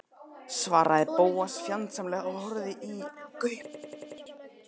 svaraði Bóas fjandsamlega og horfði í gaupnir sér.